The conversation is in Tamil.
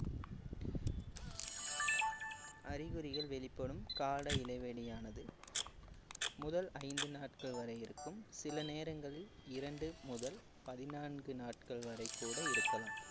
அறிகுறிகள் வெளிப்படும் கால இடைவெளியானது முதல் ஐந்து நாட்கள் வரை இருக்கும் சில நேரங்களில் இரண்டு முதல் பதினான்கு நாட்கள் வரை கூட இருக்கலாம்